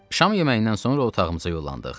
Şam yeməyindən sonra otağımıza yollandıq.